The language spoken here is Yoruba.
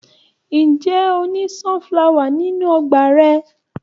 Ǹjẹ́ o ní sunflower nínú ọgbà rẹ̀?